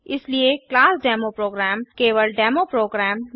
इसलिए class demo program केवल demo programme